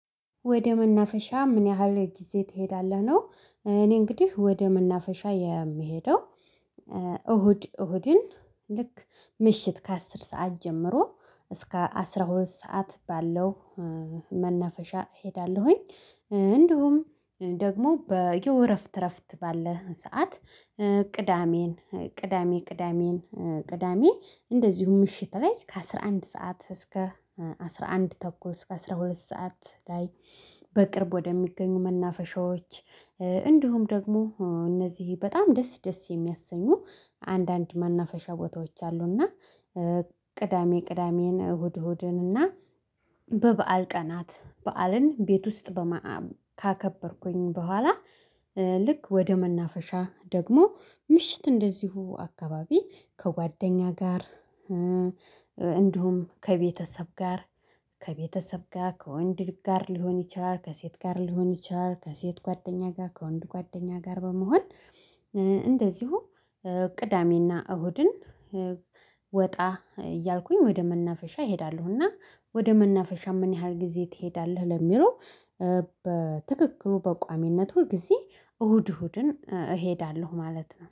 ወደ መናፈሻ ምን ያህል ጊዜ ትሄዳለህ ነው? እኔ እንግዲህ ወደ መናፈሻ የምሄደው እሁድ እሁድን ልክ ምሽት ከአስር ሰዓት ጀምሮ እስከ አስራ ሁለት ሰዓት ባለው መነፈሻ እሄዳለሁኝ። እንዲሁም ደግሞ በዬ እረፍት እረፍት ባለህ ሰዓት ቅዳሜን ቅዳሜ ቅዳሜን ቅዳሜ እንደዚሁም ምሽት ላይ ከአሥራ አንድ ሰዓት እስከ አስራ አንድ ተኩል እስከ አስራ ሁለት ሰዓት ላይ በቅርብ ወደሚገኙ መናፈሻዎች እንዲሁም ደግሞ እነዚህ በጣም ደስ ደስ የሚያሰኙ አንዳንድ መናፈሻ ቦታዎች አሉና። ቅዳሜ ቅዳሜን እሁድ እሁድንና በበዓል ቀናት በዓልን ቤት ውስጥ ካከበርኩኝ በኋላ ልክ ወደ መናፈሻ ደግሞ ምሽት እንደዚሁ አካባቢ ከጓደኛ ጋር እንዲሁም ከቤተሰብ ጋር ከቤተሰብ ጋር ከወንድ ጋር ሊሆን ይችላል ከሴት ጋር ሊሆን ይችላል ከሴት ጓደኛ ጋር ከወንድ ጓደኛ ጋር በመሆን። እንደዚሁ ቅዳሜና እሁድን ወጣ እያልኩኝ ወደ መናፈሻ እሄዳለሁ። እና ወደ መናፈሻ ምን ያህል ጊዜ ትሄዳለህ ለሚለው? በትክክሉ በቋሚነት ሁል ጊዜ እሁድ እሁድን እሄዳለሁ ማለት ነው